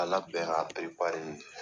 K'a labɛn k'a